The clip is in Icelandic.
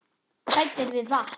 Hræddir við vatn!